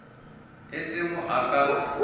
e se mo a ka